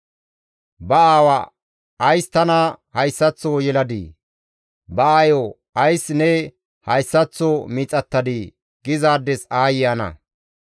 Ba aawa, ‹Ays tana hayssaththo yeladii?› ba aayo, ‹Ays ne hayssaththo miixattadii?› gizaades aayye ana!